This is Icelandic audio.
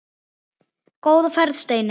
Góða ferð, Steini.